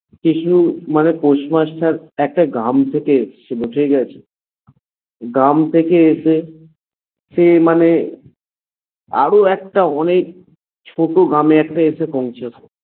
কেউ মানে post master একটা গ্রাম থেকে এসেছিল ঠিকাছে, গ্রাম থেকে এসে সে মানে আরও একটা অনেক ছোট গ্রামে একটা এসে পৌছাল